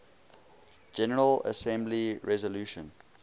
general assembly resolution